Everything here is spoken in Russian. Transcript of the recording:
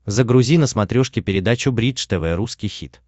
загрузи на смотрешке передачу бридж тв русский хит